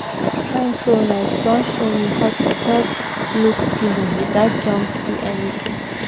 this mindfulness don show me how to just look feeling without jump do anything